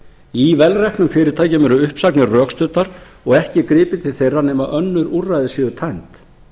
í vel reknum fyrirtækjum eru uppsagnir rökstuddar og ekki gripið til þeirra nema önnur úrræði séu tæmd